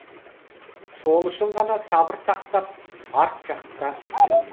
сол үшін ғана сабыр сақтап арт жақта жүрмін